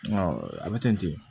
a bɛ ten ten